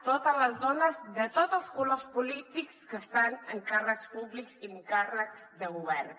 totes les dones de tots els colors polítics que estan en càrrecs públics i en càrrecs de govern